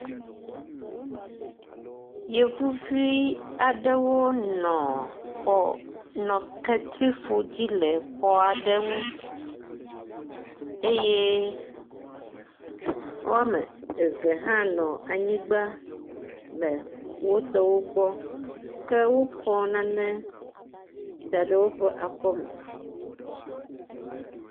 Yevuvi aɖewo nɔ xɔ nɔ ketrifɔ dzi le xɔ aɖe ŋu eye wɔme eve hã nɔ anyigba le wotɔwo gbɔ ke wokɔ nane da ɖe woƒe akɔme.